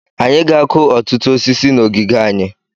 Anyị ga-akụ ọtụtụ osisi na ogige anyị.